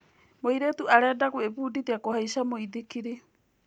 Mũirĩtu arenda gwĩbundithia kũhaica mũithikiri.